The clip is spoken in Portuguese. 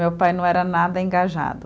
Meu pai não era nada engajado.